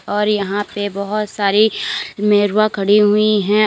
और यहां पे बहोत सारी मेहरुआ खड़ी हुई है।